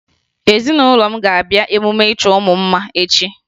Ezinụlọ m ga-abịa emume ịchọ mụ mma echi